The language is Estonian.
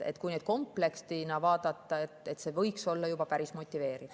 Kui neid komplektina vaadata, siis see võiks olla juba päris motiveeriv.